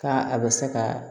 Ka a bɛ se ka